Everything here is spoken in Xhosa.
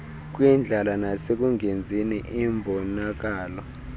kwindlala nasekungenzini imbonakalo